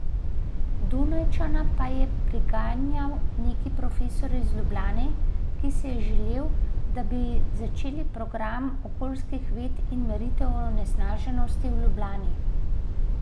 Dunajčana pa je priganjal neki profesor iz Ljubljane, ki si je želel, da bi začeli program okoljskih ved in meritve onesnaženosti v Ljubljani.